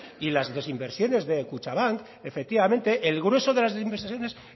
y las desinversiones de kutxabank efectivamente el grueso de las desinversiones